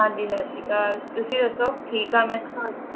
ਹਾਂ ਜੀ ਸੱਤ ਸ਼੍ਰੀ ਅਕਾਲ ਤੁਸੀਂ ਦੱਸੋ ਠੀਕ ਹਾਂ ਮੈਂ